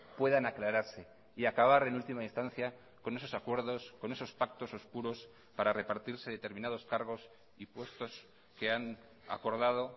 puedan aclararse y acabar en última instancia con esos acuerdos con esos pactos oscuros para repartirse determinados cargos y puestos que han acordado